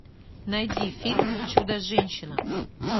найди фильм чудо женщина